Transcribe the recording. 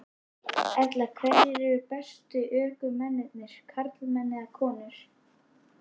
Erla: Hverjir eru bestu ökumennirnir, karlmenn eða konur?